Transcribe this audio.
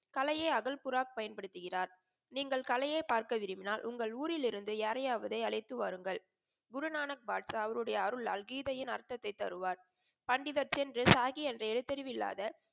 கலையை அகல்புறா பயன்படுத்துகிறார். நீங்கள் கலையை பார்க்க விரும்பும்பினால் உங்கள் ஊரில் இருந்து யாராவது அழைத்து வாருங்கள். குரு நானக் பாட்ஷா அவருடைய அருளால் கீதையின் அர்த்தத்தை தருவார். பண்டித்தின் சாஹி அந்த எழுத்து அறிவு இல்லாத